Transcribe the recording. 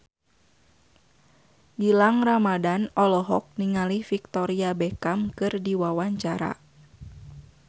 Gilang Ramadan olohok ningali Victoria Beckham keur diwawancara